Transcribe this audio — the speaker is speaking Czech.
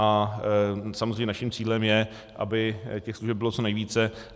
A samozřejmě naším cílem je, aby těch služeb bylo co nejvíce.